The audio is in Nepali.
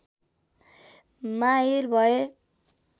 माहिर भए